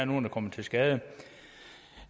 nogen kommer til skade